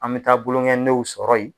An bi taa bolongɛnidenw sɔrɔ yen.